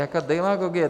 Jaká demagogie?